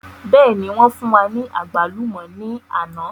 Bẹ́ẹ̀ni wọn fún wa ní àgbálùmọ̀ ni àná